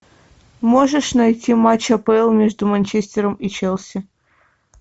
можешь найти матч апл между манчестером и челси